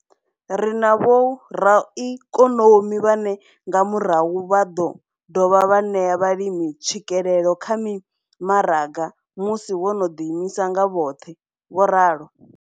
Ri na vhoraikonomi vhane nga murahu vha ḓo dovha vha ṋea vhalimi tswikelelo kha mimaraga musi vho no ḓiimisa nga vhoṱhe, vho ralo.